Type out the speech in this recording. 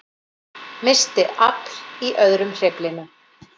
Missti afl í öðrum hreyflinum